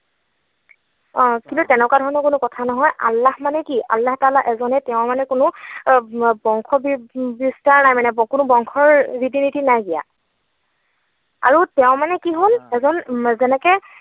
অ, কিন্তু তেনেকুৱা ধৰণৰ কোনো কথা নহয়, আল্লাহ মানে কি? আল্লাহ তালাহ এজনেই তেওঁৰ মানে কোনো বংশ বিস্তাৰ নাই মানে, কোনো বংশৰ ৰীতি নীতি নাইকিয়া। আৰু তেওঁৰ মানে কি হল এজন যেনেকৈ